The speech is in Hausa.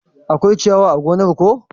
Akwai ciyawa a gonar ko?